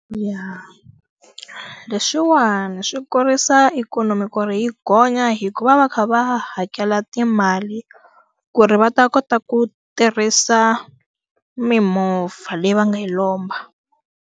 leswiwani swi kurisa ikhonomi ku ri yi gonya hikuva va va va kha va hakela timali, ku ri va ta kota ku tirhisa mimovha leyi va nga yi lomba.